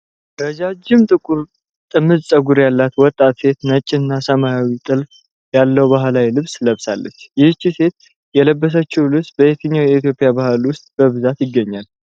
ረዣዥም ጥቁር ጥምዝ ፀጉር ያላት ወጣት ሴት ነጭና ሰማያዊ ጥልፍ ያለው ባህላዊ ልብስ ለብሳለች። ይህች ሴት የለበሰችው ልብስ በየትኛው የኢትዮጵያ ባህል ውስጥ በብዛት ይገኛል?